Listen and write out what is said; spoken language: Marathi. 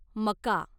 मका